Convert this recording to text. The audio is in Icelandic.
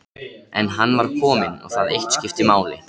En hann var kominn og það eitt skipti máli.